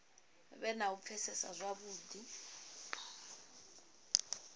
vhe na u pfesesa zwavhudi